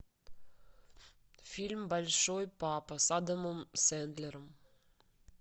фильм большой папа с адамом сэндлером